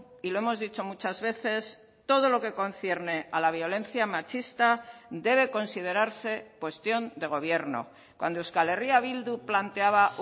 y lo hemos dicho muchas veces todo lo que concierne a la violencia machista debe considerarse cuestión de gobierno cuando euskal herria bildu planteaba